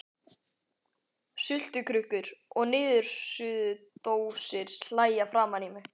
Sultukrukkur og niðursuðudósir hlæja framan í mig.